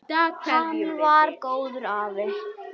Hann var góður afi.